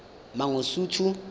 mangosuthu